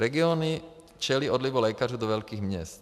Regiony čelí odlivu lékařů do velkých měst.